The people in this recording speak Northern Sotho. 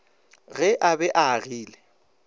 ge a be a agile